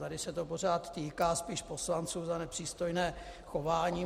Tady se to pořád týká spíš poslanců za nepřístojné chování.